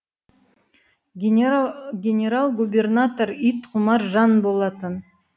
генерал губернатор ит құмар жан болатын